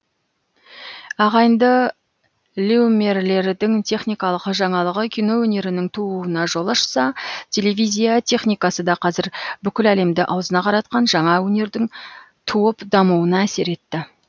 ағайынды льюмерлердің техникалық жаңалығы кино өнерінің тууына жол ашса телевизия техникасы да қазір бүкіл әлемді аузына қаратқан жаңа өнердің туып дамуына әсер етті